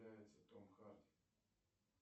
том харди